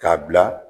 K'a bila